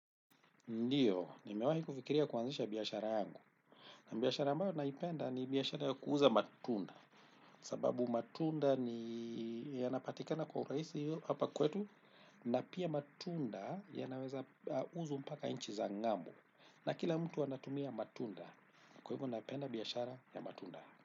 Ndio, nimewahi kufikiria kuanzisha biashara yangu. Biashara ambayo naipenda ni biashara ya kuuza matunda. Sababu matunda ni yanapatikana kwa urahisi hapa kwetu na pia matunda yanaweza uzwa mpaka nchi za ng'ambo. Na kila mtu anatumia matunda. Kwa hivyo napenda biashara ya matunda.